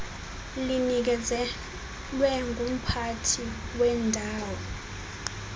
linikezelwe ngumphathi wendawo